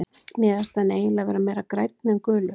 Mér finnst hann eiginlega vera meira grænn en gulur.